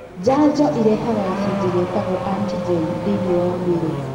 Njanjo ĩrehaga gacunjĩ getagwo antigen thĩiniĩ wa mwĩrĩ